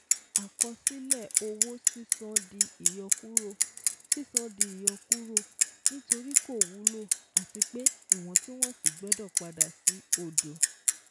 Àkọsílẹ̀ owó sísan di ìyọkúrò sísan di ìyọkúrò nítorí kò wúlò àti pé ìwọ̀túnwọ̀sí gbọ́dọ̀ padà sí odò